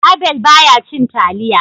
Abel ba ya cin taliya